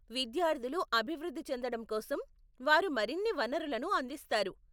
విద్యార్థులు అభివృద్ధి చెందడం కోసం వారు మరిన్ని వనరులను అందిస్తారు.